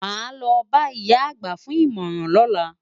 Màá lo bá ìyá àgbà fún ìmọ̀ràn lọ́la.